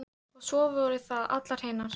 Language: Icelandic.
Og svo voru það allar hinar.